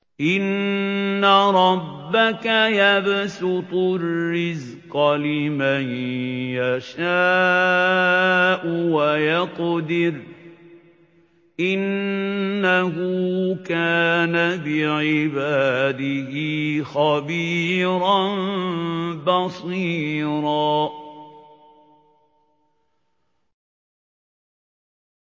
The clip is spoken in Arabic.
إِنَّ رَبَّكَ يَبْسُطُ الرِّزْقَ لِمَن يَشَاءُ وَيَقْدِرُ ۚ إِنَّهُ كَانَ بِعِبَادِهِ خَبِيرًا بَصِيرًا